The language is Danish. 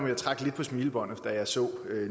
jeg trak lidt på smilebåndet da jeg så